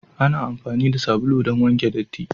Ana amfani da sabulu don wanke datti.